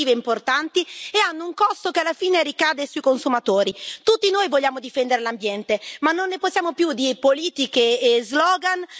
Tutti noi vogliamo difendere l'ambiente, ma non ne possiamo più di politiche e slogan fatte solo di tasse e di fatto ambientali.